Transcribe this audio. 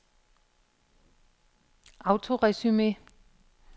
autoresume